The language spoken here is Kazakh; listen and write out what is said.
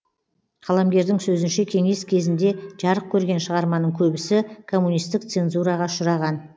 қаламгердің сөзінше кеңес кезінде жарық көрген шығарманың көбісі коммунистік цензураға ұшыраған